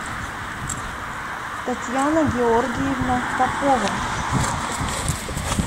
татьяна георгиевна попова